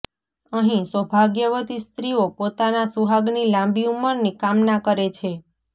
અહિં સૌભાગ્યવતી સ્ત્રીઓ પોતાના સુહાગની લાંબી ઉંમરની કામના કરે છે